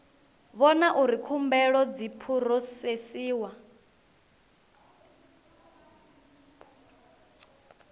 vhona uri khumbelo dzi phurosesiwa